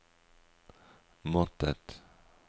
måttet